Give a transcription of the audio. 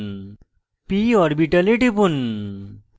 p orbital টিপুন